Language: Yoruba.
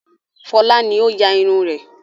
Fọlá ni ó ya irun rẹ̀.